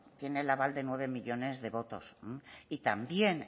tiene el aval de nueve millónes de votos y también